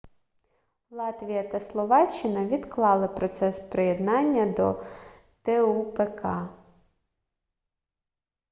латвія та словаччина відклали процес приєднання до тупк